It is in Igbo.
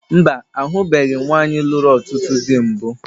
Mba, ahụbeghi m nwaanyị lụrụ ọtụtụ dị mbụ